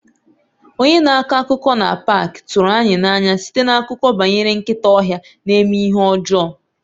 Onye na-akọ akụkọ na paak tụrụ anyị n'anya site n'akụkọ banyere nkịta ọhịa na-eme ihe ọjọọ.